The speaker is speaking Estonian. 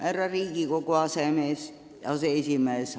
Härra Riigikogu aseesimees!